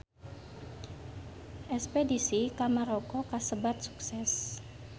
Espedisi ka Maroko kasebat sukses